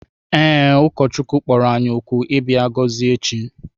Ee, ụkọchukwu ahụ kpọrọ anyị òkù ịbịa gọzie echi